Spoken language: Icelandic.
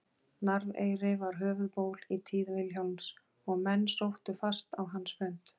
Narfeyri var höfuðból í tíð Vilhjálms og menn sóttu fast á hans fund.